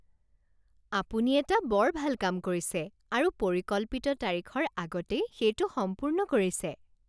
আপুনি এটা বৰ ভাল কাম কৰিছে আৰু পৰিকল্পিত তাৰিখৰ আগতেই সেইটো সম্পূৰ্ণ কৰিছে